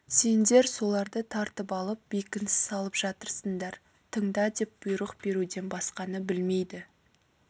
сендер соларды тартып алып бекініс салып жатырсыңдар тыңда деп бұйрық беруден басқаны білмейді